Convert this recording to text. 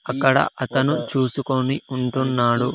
అక్కడ అతను చూసుకొని ఉంటున్నాడు.